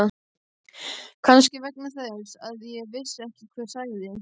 Kannski vegna þess að ég vissi ekki hver sagði.